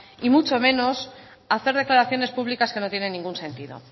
y mucho menos a hacer declaraciones públicas que no tienen ningún sentido